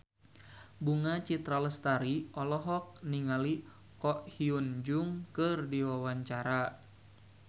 Bunga Citra Lestari olohok ningali Ko Hyun Jung keur diwawancara